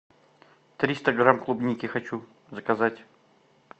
триста грамм клубники хочу заказать